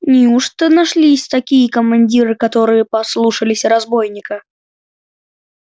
неужто нашлись такие командиры которые послушались разбойника